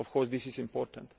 Of course this is important.